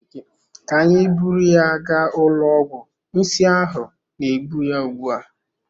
Ka anyị buru ya gaa ụlọ ọgwụ nsi ahụ na-egbu ya ugbua.